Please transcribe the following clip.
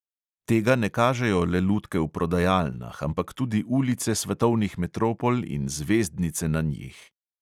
Tega ne kažejo le lutke v prodajalnah, ampak tudi ulice svetovnih metropol in zvezdnice na njih.